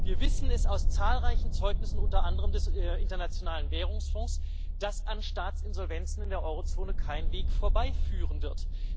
Wir wissen es aus zahlreichen Zeugnissen, unter anderem des Internationalen Währungsfonds, dass an Staatsinsolvenzen in der Eurozone kein Weg vorbeiführen wird.